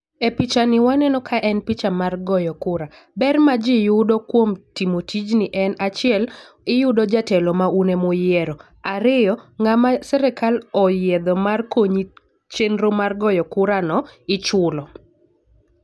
E picha ni waneno ka en picha mar goyo kura ber ma ji yudo kuom timo tijni en achiel iyudo jatelo ma un emuyiero .Ariyo ng'ama sirikal oyiedho mar konyi chenro mar goyo kura no ichulo.